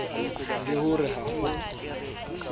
le ho re ha ho